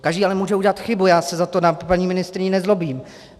Každý ale může udělat chybu, já se za to na paní ministryni nezlobím.